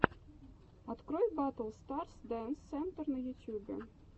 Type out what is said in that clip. открой батл олл старс дэнс сентер на ютюбе